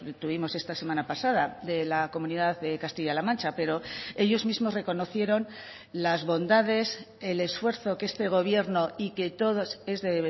tuvimos esta semana pasada de la comunidad de castilla la mancha pero ellos mismos reconocieron las bondades el esfuerzo que este gobierno y que todos es de